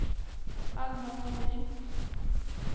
Alma Nordin